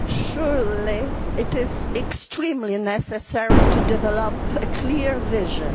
Madam, surely it is extremely necessary to develop a clear vision.